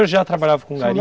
O senhor já trabalhava com